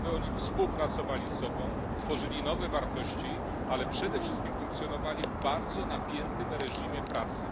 po to, aby oni współpracowali ze sobą, tworzyli nowe wartości, ale przede wszystkim funkcjonowali w bardzo napiętym reżimie pracy.